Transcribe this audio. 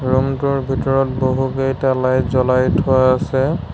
ৰূমটোৰ ভিতৰত বহুকেইটা লাইট জ্বলাই থোৱা আছে।